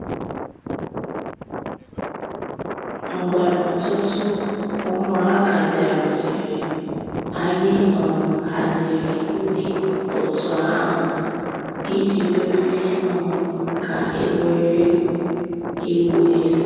Mgbè òtùtù ǔ́mụ̀àkà bịàrùtèrè, ànyị̀ um hàzìri ńdí ọ̀tù àhụ̀ íjì dòzìe um nkà ègwè́régwụ̀ ị̀wụ̀ èlù.